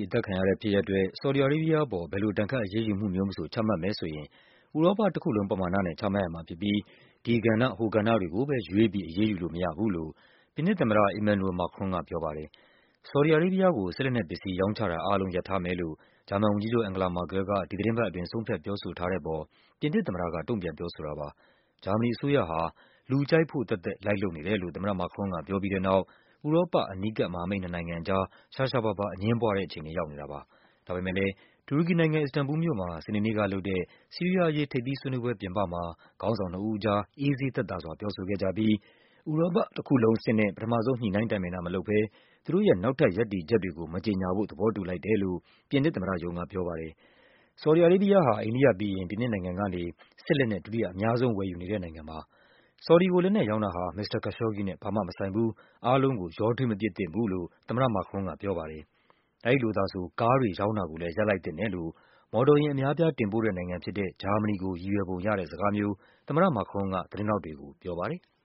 အသတ်ခံရတဲ့ဖြစ်ရပ်အတွက် ဆော်ဒီ အာရေးဘီးယားအပေါ် ဘယ်လို ဒဏ်ခတ်အရေးယူမှု မျိုးမဆို ချမှတ်မယ်ဆိုရင် “ဥရောပတခုလုံး ပမာဏ” နဲ့ ချမှတ်ရမှာဖြစ်ပြီး ဒီကဏ္ဍ ဟိုကဏ္ဍတွေကိုပဲ ရွေးပြီး အရေးယူလို့မရဘူးလို့ ပြင်သစ်သမ္မတ Emmanuel Macron ကပြောပါတယ်။ ဆော်ဒီ အာရေးဘီးယားကို စစ်လက်နက်ပစ္စည်း ရောင်းချတာအားလုံး ရပ်ထားမယ်လို့ ဂျာမန်ဝန်ကြီးချုပ် အန်ဂလာ မာကဲလ်က ဒီသီတင်းပတ်အတွင်း ဆုံးဖြတ် ပြောဆိုထား တဲ့အပေါ် ပြင်သစ်သမ္မတက တုန့်ပြန် ပြောဆိုတာပါ။ ဂျာမနီအစိုးရဟာ “လူကြိုက်ဖို့ သက်သက်” လိုက်လုပ်နေတယ်လို့ သမ္မတ Macron က ပြောပြီးတဲ့နောက် ဥရောပ အနီးကပ် မဟာမိတ် နှစ်နိုင်ငံအကြား ရှားရှားပါးပါး အငြင်းပွားတဲ့အခြေအနေ ရောက်နေတာပါ။ ဒါပေမဲ့လည်း တူရကီနိုင်ငံ၊ အစ္စတန်ဘူလ်မြို့မှာ စနေနေ့ကလုပ်တဲ့ ဆီးရီးယားအရေး ထိပ်သီးဆွေးနွေးပွဲပြင်ပမှာ ခေါင်းဆောင် နှစ်ဦးကြား အေးဆေးသက်သာစွာ ပြောဆိုခဲ့ကြပြီး “ဥရောပတခုလုံးအဆင့်” နဲ့ ပထမဆုံး ညှိနှိုင်းတိုင်ပင်တာမလုပ်ဘဲ သူတို့ရဲ့ နောက်ထပ်ရပ်တည်ချက်တွေကို မကြေညာဖို့ သဘောတူလိုက်တယ်လို့ ြ့ပင်သစ်သမ္မတရုံးကပြောပါတယ်။ ဆော်ဒီ အာရေးဘီးယားဟာ အိန္ဒိယပြီးရင် ပြင်သစ်နိုင်ငံကနေ စစ်လက်နက် ဒုတိယ အများဆုံး ဝယ်ယူနေတဲ့နိုင်ငံပါ။ ဆော်ဒီကို လက်နက်ရောင်းတာဟာ “မစ္စတာ Khashoggi နဲ့ ဘာမှမဆိုင်ဘူး၊ အားလုံးကို ရောထွေးမပစ်သင့်ဘူး” လို့ သမ္မတ Macron က ပြောပါတယ်။ “အဲဒီလိုသာဆို ကားတွေရောင်းတာကိုလည်း ရပ်လိုက်သင့်တယ်” လို့ မော်တော်ယာဉ် အများအပြား တင်ပို့တဲ့နိုင်ငံ ဖြစ်တဲ့ ဂျာမနီကိုရည်ရွယ်ပုံရတဲ့စကားမျိုး သမ္မတ Macron က သတင်းထောက်တွေကို ပြောပါတယ်။